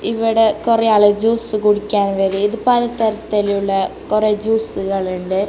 ഇവടെ കൊറെയാള് ജ്യൂസ് കുടിക്കാൻ വരെ ഇത് പലതരത്തിലുള്ള കൊറെ ജ്യൂസുകൾ ഇണ്ട്.